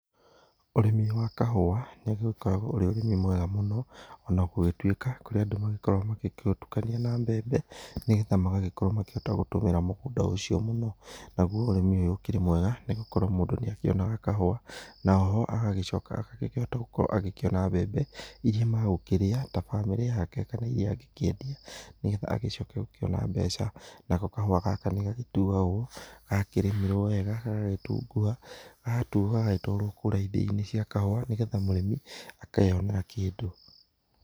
Ũrĩmi wa kahũa nĩ ũgĩkoragwo ũrĩ ũrĩmi mwega mũno ona gũgĩtuĩka kũrĩ andũ magĩkoragwo magĩ ũtũkanĩa na mbembe nĩgetha magagĩkorwo makĩhota kũhũthĩra mũgũnda ũcio mũno, nagũo ũrĩmi ũyũ nĩ mwega nĩ gũkorwo mũndũ nĩ akĩonaga kahũa naoho agagĩcoka agagĩkĩhota gũkorwo akĩhota kuona mbembe ĩrĩa magũkĩria ta mbamĩrĩ yake kana ĩrĩa angĩkĩendia nĩgetha agĩcoke kũona mbeaca, nako kahũa gaka nĩ gagĩtũagwo gakĩrĩmĩrwo wega gagagĩtunguha gagatũo gagatwarwo kũrĩa ithĩinĩ cia kahũa nĩgetha mũrĩmi akeyonera kĩndũ.